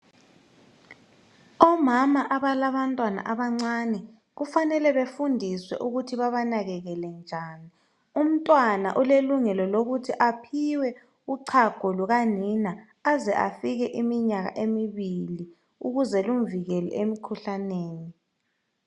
Omama abalabantwana abancane kufanele befundiswe ukuthi babanakekele njani umntwana ulelungelo lokuthi aphiwe uchago lukanina aze afike iminyaka emibili ukuze lumvikele emkhuhlaneni.